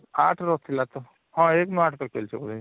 ୮ ରୁ ଥିଲା ତ ହଁ ୧ ନୁ ୮ ତକ ଚାଲିଛି